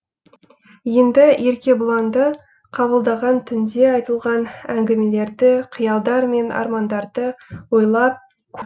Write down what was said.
енді еркебұланды қабылдаған түнде айтылған әңгімелерді қиялдар мен армандарды ойлап